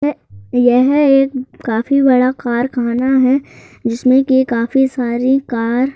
ए यह एक काफी बड़ा कारखाना है जिसमें कि काफी सारी कार --